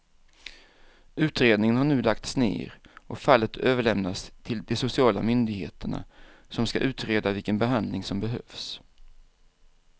Utredningen har nu lagts ner och fallet överlämnats till de sociala myndigheterna som ska utreda vilken behandling som behövs.